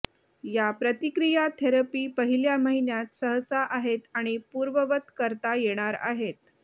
या प्रतिक्रिया थेरपी पहिल्या महिन्यात सहसा आहेत आणि पूर्ववत करता येणार आहेत